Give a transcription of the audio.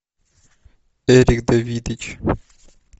эрик давидыч